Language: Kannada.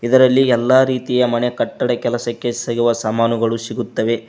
ಇದರಲ್ಲಿ ಎಲ್ಲಾ ರಿತಿಯ ಮನೆ ಕಟ್ಟಡ ಕೆಲಸಕ್ಕೆ ಸಿಗುವ ಸಾಮಾನುಗಳು ಸಿಗುತ್ತವೆ.